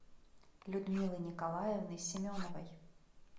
людмилы николаевны семеновой